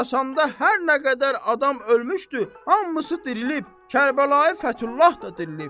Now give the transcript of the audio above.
Xorasanda hər nə qədər adam ölmüşdü, hamısı dirilib, Kərbəlayı Fətullah da dirilib.